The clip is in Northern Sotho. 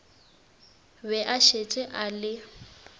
be a šetše a le